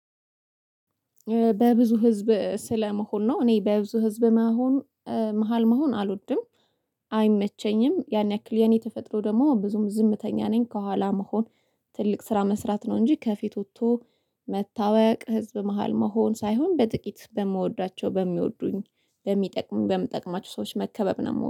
በብዙ ህዝብ ስለመሆን ነው እኔ በብዙ ህዝብ መሆን መሃል መሆን አልወድም። አይመቸኝም ያን ያክል የኔ ተፈጥሮ ደግሞ ብዙም ዝምተኛ ነኝ ከኋላ መሆን። ትልቅ ስራ መስራት ነው እንጂ ከፊት ወጥቶ መታወቅ ህዝብ መሃል መሆን ሳይሆን በጥቂት በምወዳቸው በሚወዱኝ በሚጠቅሙኝ በምጠቅማቸው ሰዎች መከበብ ነው ምወድ